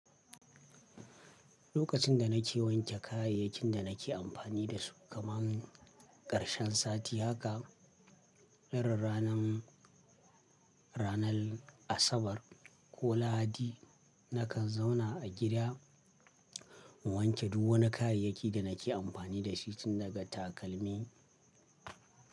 Lokacin da nake wanke kayayyakin da nake amfani da su, kamar ƙarshen sati haka, ra ranan, ranar Asabar ko Lahadi nakan zauna a gida in wanke duk wani kayayyaki da nake amfani da shi tun daga takalmi.